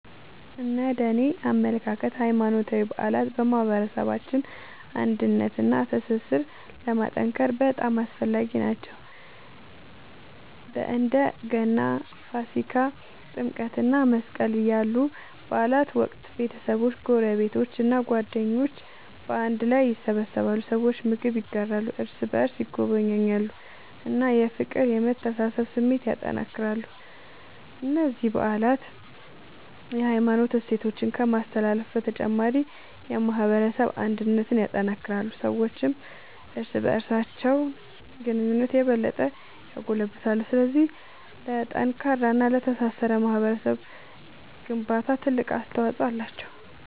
እነደኔ አመለካከት ሃይማኖታዊ በዓላት በማህበረሰባችን አንድነትንና ትስስርን ለማጠናከር በጣም አስፈላጊ ናቸው። በእንደ ገና፣ ፋሲካ፣ ጥምቀት እና መስቀል ያሉ በዓላት ወቅት ቤተሰቦች፣ ጎረቤቶች እና ጓደኞች በአንድ ላይ ይሰበሰባሉ። ሰዎች ምግብ ይጋራሉ፣ እርስ በርስ ይጎበኛሉ እና የፍቅርና የመተሳሰብ ስሜትን ያጠናክራሉ። እነዚህ በዓላት የሃይማኖት እሴቶችን ከማስተላለፍ በተጨማሪ የማህበረሰብ አንድነትን ያጠናክራሉ። ሰዎችም እርስ በርስ ያላቸውን ግንኙነት የበለጠ ያጎለብታሉ። ስለዚህ ለጠንካራና ለተሳሰረ ማህበረሰብ ግንባታ ትልቅ አስተዋጽኦ አላቸው።